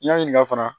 I y'a ɲininka fana